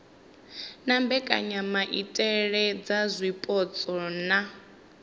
na mbekanyamaitele dza zwipotso na